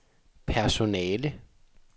personale